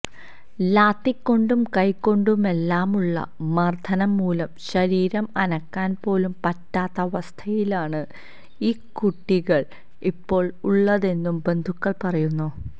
ലാത്തികൊണ്ടും കൈകൊണ്ടുമെല്ലാമുള്ള മര്ദ്ദനം മൂലം ശരീരം അനക്കാന് പോലും പറ്റാത്ത അവസ്ഥയിലാണ് ഈ കുട്ടികള് ഇപ്പോള് ഉള്ളതെന്നു ബന്ധുക്കളും പറയുന്നു